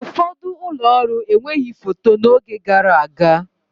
Ụfọdụ ụlọ ọrụ enweghị foto n'oge gara aga.